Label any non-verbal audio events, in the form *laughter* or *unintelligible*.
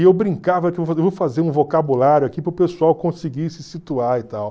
E eu brincava que *unintelligible* eu vou fazer um vocabulário aqui para o pessoal conseguir se situar e tal.